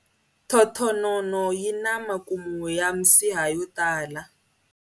Thothonono yi na makumu ya misiha yo tala.